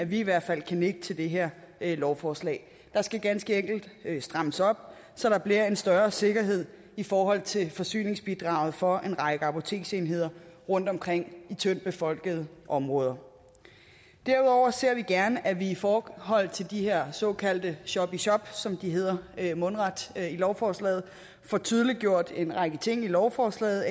vi i hvert fald kan nikke til det her lovforslag der skal ganske enkelt strammes op så der bliver en større sikkerhed i forhold til forsyningsbidraget for en række apoteksenheder rundtomkring i tyndtbefolkede områder derudover ser vi gerne at vi i forhold til de her såkaldte shop i shop som de hedder mundret lovforslaget får tydeliggjort en række ting i lovforslaget